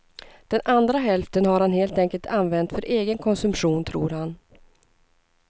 Den andra hälften har han helt enkelt använt för egen konsumtion, tror han.